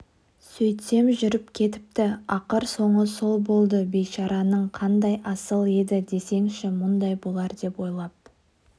сөйтсем жүріп кетіпті ақыр соңы сол болды бейшараның қандай асыл еді десеңші мұндай болар деп ойлап